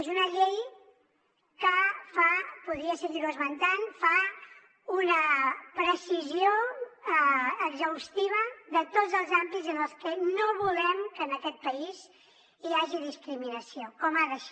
és una llei que fa podria seguir ho esmentant una precisió exhaustiva de tots els àmbits en els que no volem que en aquest país hi hagi discriminació com ha de ser